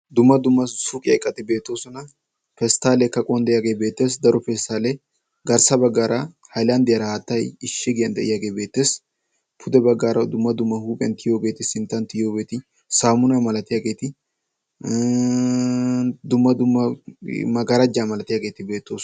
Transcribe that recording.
dumma dumma suuqiyaa iqqati beettoosona. pesttalee kaquwaandiyaagee beettees. daro pesttalee garssa baggaara haylandiyaara haattay ishigiyaan diyaagee beettees. pudde baggaara dumma dumma huphphiyaan tiyiyoogeeti sinttan tiyiyoogeti saamunaa milatiyaageti ii magaraajaa milatiyaageti beettoosona.